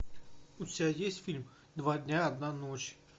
у тебя есть фильм два дня одна ночь